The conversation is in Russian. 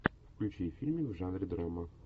включи фильмик в жанре драма